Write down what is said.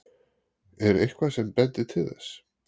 Er eitthvað sem bendir til þess?